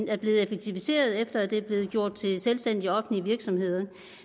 er blevet effektiviseret på efter at de er blevet gjort til selvstændige offentlige virksomheder